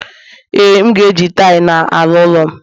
ee, m ga-eji taịlị n'ala ụlọ'm